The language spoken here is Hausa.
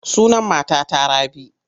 Sunan matata Rabi.